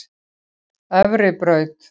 Efribraut